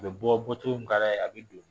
U bɛ bɔ bɔtogo min ka d'a ye a bɛ don